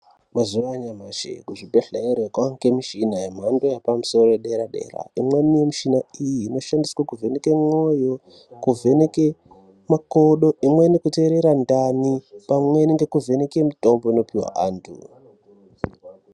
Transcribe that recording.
Mazuwanyashi kuzvibhedhlere kwange mishina yemhando yepamusoro yedera dera imweni mishina iyi inoshandiswe kuvheneke mwoyo, kuvheneke makodo, imweni ukuteerera ndani pamweni nekuvheneke mitombo inopihwa antu.